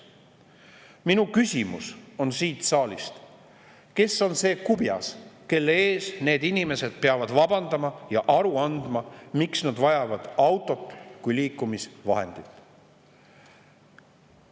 Minu küsimus siit saalist on: kes on see kubjas, kelle ees need inimesed peavad vabandama ja aru andma, miks nad vajavad autot kui liikumisvahendit?